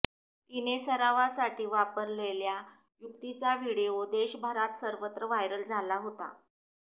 तिने सरावासाठी वापरलेल्या युक्तीचा व्हीडिओ देशभरात सर्वत्र व्हायरल झाला होता